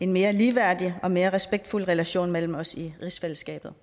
en mere ligeværdig og mere respektfuld relation mellem os i rigsfællesskabet